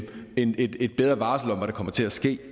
et bedre varsel om hvad der kommer til at ske